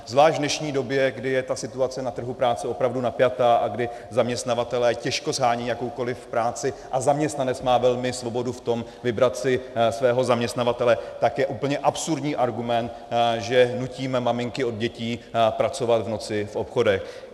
Zvlášť v dnešní době, kdy je ta situace na trhu práce opravdu napjatá a kdy zaměstnavatelé těžko shánějí jakoukoliv práci a zaměstnanec má velmi svobodu v tom vybrat si svého zaměstnavatele, tak je úplně absurdní argument, že nutíme maminky od dětí pracovat v noci v obchodech.